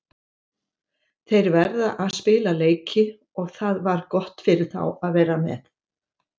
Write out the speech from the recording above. Þeir verða að spila leiki og það var gott fyrir þá að vera með.